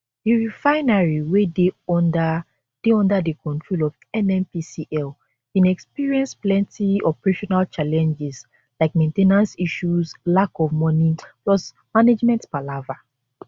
di refinery wey dey under dey under di control of nnpcl bin experience plenty operational challenges like main ten ance issues lack of money plus management palava